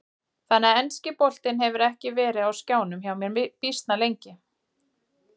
Þannig að enski boltinn hefur ekki verið á skjánum hjá mér býsna lengi.